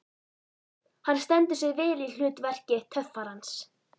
Hann stendur sig vel í hlut verki töffarans.